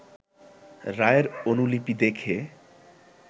রায়ের অনুলিপি দেখে